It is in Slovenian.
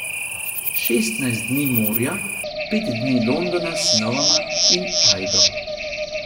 Šestnajst dni morja, pet dni Londona s sinovoma in Ajdo.